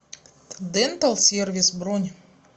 дентал сервис бронь